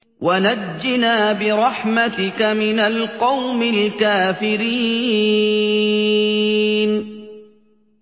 وَنَجِّنَا بِرَحْمَتِكَ مِنَ الْقَوْمِ الْكَافِرِينَ